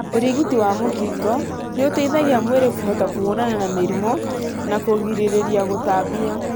ũrigiti wa mũkingo nĩũteithagia mwĩri kũhota kũhũrana na mĩrimũ na kũgirĩrĩria kũũtambia.